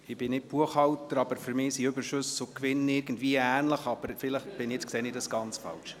Ich bin nicht Buchhalter, aber für mich sind Überschüsse und Gewinne irgendwie ähnlich, aber vielleicht sehe ich das ganz falsch.